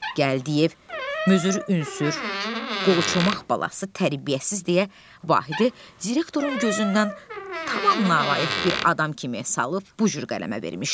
Gəldiyev mürdər ünsür, qolçomaq balası tərbiyəsiz deyə Vahidi direktorun gözündən tamamilə nalayiq bir adam kimi salıb bu cür qələmə vermişdi.